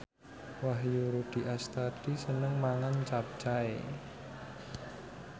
Wahyu Rudi Astadi seneng mangan capcay